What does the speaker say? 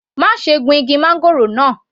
Má ṣe gun igi máńgòrò náà.